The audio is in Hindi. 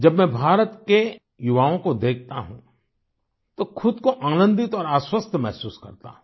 जब मैं भारत के युवाओं को देखता हूँ तो खुद को आनंदित और आश्वस्त महसूस करता हूँ